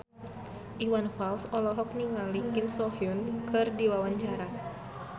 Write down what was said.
Iwan Fals olohok ningali Kim So Hyun keur diwawancara